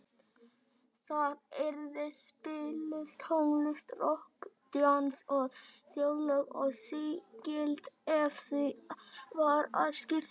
Þar yrði spiluð tónlist, rokk, djass og þjóðlög, og sígild ef því var að skipta.